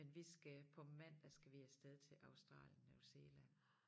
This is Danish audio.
Men vi skal på mandag skal vi af sted til Australien New Zealand